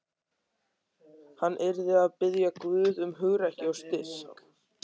Hann yrði að biðja Guð um hugrekki og styrk.